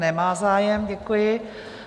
Nemá zájem, děkuji.